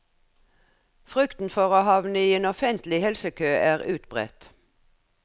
Frykten for å havne i en offentlig helsekø er utbredt.